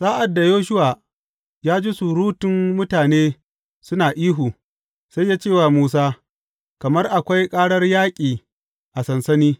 Sa’ad da Yoshuwa ya ji surutun mutane suna ihu, sai ya ce wa Musa, Kamar akwai ƙarar yaƙi a sansani.